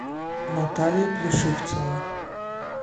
наталья плешивцева